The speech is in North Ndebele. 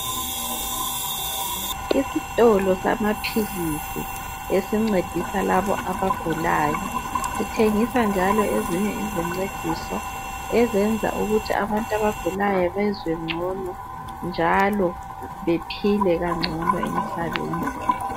Isitolo samaphilisi esincedisa labo abagulayo, sithengisa njalo ezinye izincediso ezenza ukuthi abantu abagulayo bezwe ngcono njalo bephile kangcono emhlabeni.